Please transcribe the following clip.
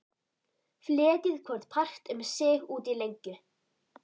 Fletjið hvorn part um sig út í lengju.